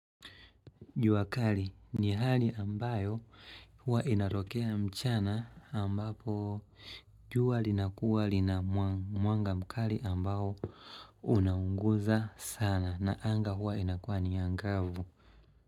Jua kali ni hali ambayo huwa inatokea mchana ambapo jua linakuwa linamwanga mkali ambayo unaunguza sana na anga huwa inakuwa ni angavu.